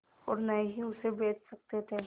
और न ही उसे बेच सकते थे